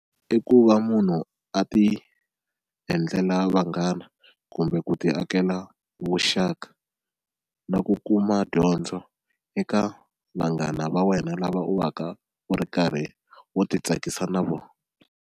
I ku va munhu a ti endlela vanghana kumbe ku ti akela vuxaka na ku kuma dyondzo eka vanghana va wena lava u va ka u ri karhi u ti tsakisa na vona.